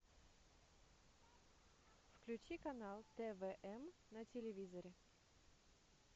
включи канал твм на телевизоре